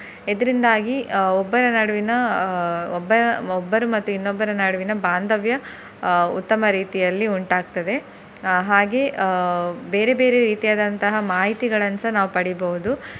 ಇದರಿಂದಾಗಿ ಅಹ್ ಒಬ್ಬರ ನಡುವಿನ ಅಹ್ ಒಬ್ಬ~ ಒಬ್ಬರು ಮತ್ತು ಇನ್ನೊಬ್ಬರ ನಡುವಿನ ಭಾಂದವ್ಯ ಅಹ್ ಉತ್ತಮ ರೀತಿಯಲ್ಲಿ ಉಂಟಾಗ್ತದೆ. ಅಹ್ ಹಾಗೆ ಅಹ್ ಬೇರೆ ಬೇರೆ ರೀತಿಯಾದಂತಹ ಮಾಹಿತಿಗಳನ್ನು ಸಹ ನಾವು ಪಡಿಬೋದು.